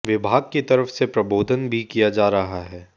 विभाग की तरफ से प्रबोधन भी किया जा रहा है